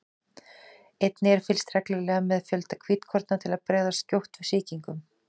Einnig er fylgst reglulega með fjölda hvítkorna til að bregðast skjótt við sýkingum.